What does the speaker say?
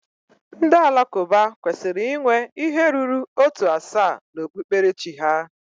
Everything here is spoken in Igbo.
Ndị Alakụba kwesịrị inwe ihe ruru ótù asaa na okpukperechi ha